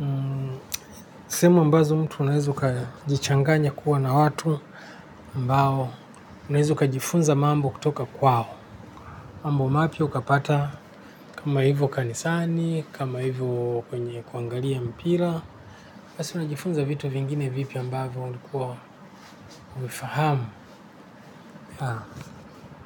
ni sehemu ambazo mtu unaeza kujichanganya kuwa na watu ambao unaeza ukajifunza mambo kutoka kwao mambo mapya ukapata kama hivyo kanisani kama hivyo kwenye kuangalia mpira hasa unajifunza vitu vingine vipya ambavyo ulikuwa huvifahamu.